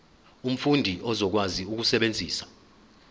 umfundi uzokwazi ukusebenzisa